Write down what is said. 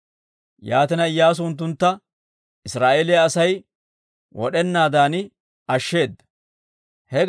Yaatina, Iyyaasu unttuntta Israa'eeliyaa Asay wod'enaadan ashsheeda.